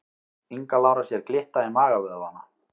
Inga Lára sér glitta í magavöðvana